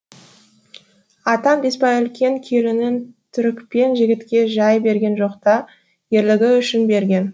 атаң беспай үлкен келінін түрікпен жігітке жай берген жоқ та ерлігі үшін берген